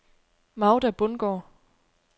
Magda Bundgaard